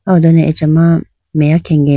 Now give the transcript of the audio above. aw ho done achama meya khenge.